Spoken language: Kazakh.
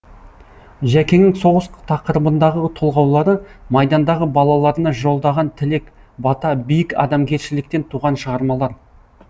жәкеңнің соғыс тақырыбындағы толғаулары майдандағы балаларына жолдаған тілек бата биік адамгершіліктен туған шығармалар